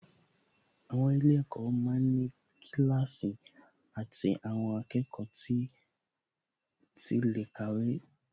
Àwọn ilé-ẹ̀kọ́ ma ń ní kíláàsì tí àwọn akẹ́kọ̀ọ́ tí lè kàwé